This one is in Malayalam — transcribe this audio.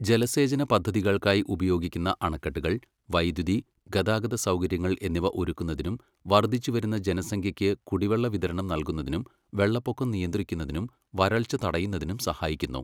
ജലസേചന പദ്ധതികൾക്കായി ഉപയോഗിക്കുന്ന അണക്കെട്ടുകൾ വൈദ്യുതി, ഗതാഗത സൗകര്യങ്ങൾ എന്നിവ ഒരുക്കുന്നതിനും വർദ്ധിച്ചുവരുന്ന ജനസംഖ്യയ്ക്ക് കുടിവെള്ള വിതരണം നൽകുന്നതിനും വെള്ളപ്പൊക്കം നിയന്ത്രിക്കുന്നതിനും വരൾച്ച തടയുന്നതിനും സഹായിക്കുന്നു.